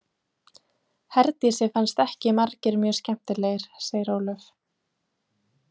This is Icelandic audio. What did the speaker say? Herdísi fannst ekki margir mjög skemmtilegir, segir Ólöf.